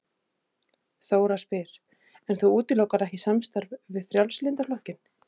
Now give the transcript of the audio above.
Þóra: En þú útilokar ekki samstarf við Frjálslynda flokkinn?